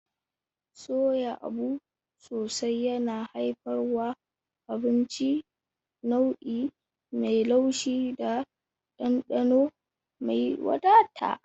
Soya abu sosai yana haifarwa abinci nau'i mai laushi da dandano mai wadata.